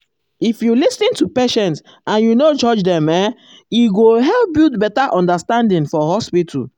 if you lis ten to patient and you no judge dem ehm e go help build better understanding for hospital.